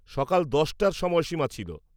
সকাল দশটার সময়সীমা ছিল।